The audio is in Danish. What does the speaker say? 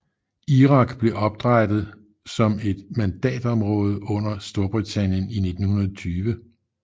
Irak blev oprætet som et mandatområde under Storbritannien i 1920